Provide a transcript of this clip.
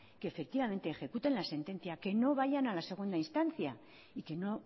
que efectivamente ejecuten la sentencia que no vayan a la segunda instancia y que no